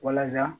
Walasa